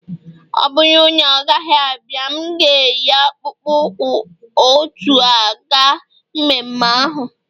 ọ bụrụ na ọ gaghị abịa, m ga-eyi akpụkpọ ụkwụ a otú a ga mmemme ahụ